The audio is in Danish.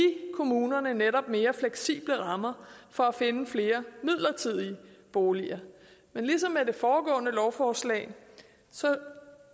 kommunerne netop mere fleksible rammer for at finde flere midlertidige boliger men ligesom i det foregående lovforslag